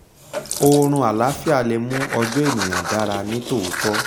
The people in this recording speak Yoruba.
oorun àláfíà le mú ọjọ́ ènìyàn dára ní tòótọ́